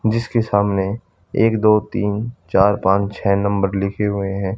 जिसके सामने एक दो तीन चार पांच छे नंबर लिखे हुए है।